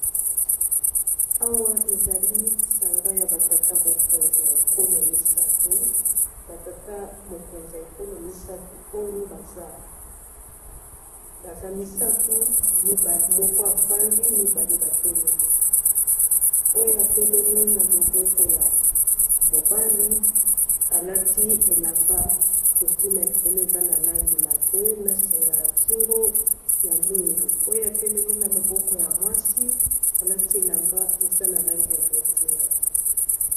awa ezali lisanga ya batata mokonzi ya ekolo misato batata mokonzi a ekolo misatu oyo baza misato moko afandi mibale batelemi oyo atelemi na loboko ya mobali alati elamba costume ya licole eza na langi lambwe na senga ya kingo ya mwindu oyo atelemi na loboko ya mwasi alati elamba eza na langi ya bodinga